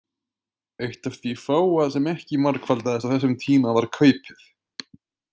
Eitt af því fáa sem ekki margfaldaðist á þessum tíma var kaupið.